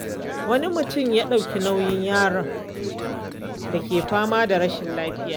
Wani mutum ya ɗauki nauyin jinyar yaron da ke fama da rashin lafiya.